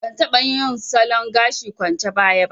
Ban taɓa yin salon gashi kwance baya ba